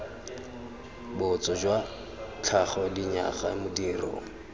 botso jwa tlhago dinyaga modiro